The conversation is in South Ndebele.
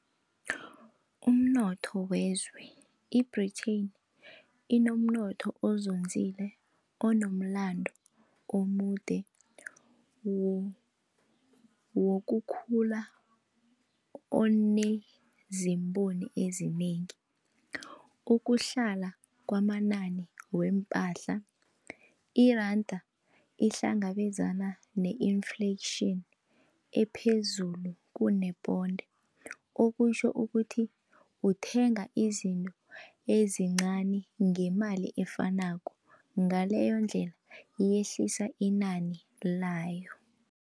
Umnotho wezwe, i-Britain inomnotho ozonzile anomlando omude wokukhula onezimponi ezinengi. Ukuhlala kwamanani weempahla, iranda ihlangabezana ne-inflation ephezulu kuneponde okutjho ukuthi ukuthenga izinto ezincani ngemali efanako ngaleyondlela yehlisa inani layo.